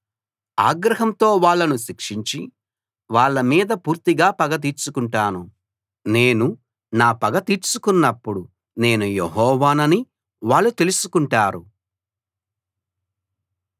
ఆగ్రహంతో వాళ్ళను శిక్షించి వాళ్ళ మీద పూర్తిగా పగ తీర్చుకుంటాను నేను నా పగ తీర్చుకున్నప్పుడు నేను యెహోవానని వాళ్ళు తెలుసుకుంటారు